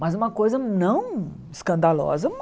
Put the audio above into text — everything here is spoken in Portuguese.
Mas uma coisa não escandalosa.